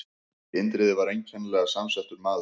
Indriði var einkennilega samsettur maður.